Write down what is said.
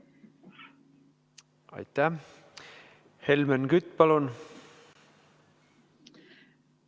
Helmen Kütt, palun!